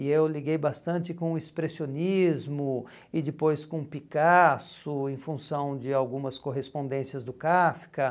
e eu liguei bastante com o expressionismo e depois com o Picasso em função de algumas correspondências do Kafka.